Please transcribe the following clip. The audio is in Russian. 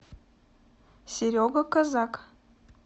серега козак